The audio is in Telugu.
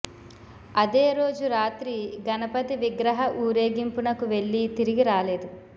అదే రోజు రాత్రి గణపతి విగ్రహ ఊరేగింపునకు వెళ్లి తిరిగి రాలేదు